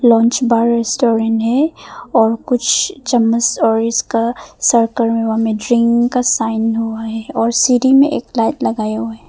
Lounge bar restaurant है और कुछ चम्मच और इसका सर्किल में ड्रिंक साइन हुआ है और सीढ़ी में एक लाइट लगाया हुआ है।